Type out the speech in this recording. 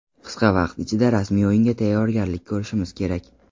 Qisqa vaqt ichida rasmiy o‘yinga tayyorgarlik ko‘rishimiz kerak.